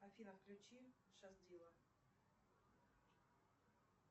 афина включи шаз дила